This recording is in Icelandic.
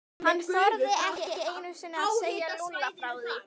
Hann þorði ekki einu sinni að segja Lúlla frá því.